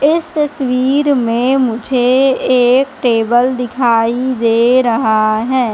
इस तस्वीर में मुझे एक टेबल दिखाई दे रहा है।